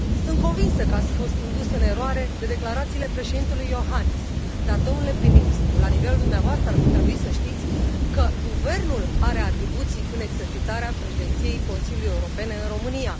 Sunt convinsă că ați fost indus în eroare de declarațiile Președintelui Johannis, dar, domnule prim ministru, la nivelul dumneavoastră ar fi trebui să știți că guvernul are atribuții în exercitarea președinției Consiliului Uniunii Europene în România.